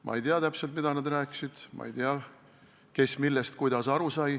Ma ei tea täpselt, mida nad rääkisid, ma ei tea, kes millest ja kuidas aru sai.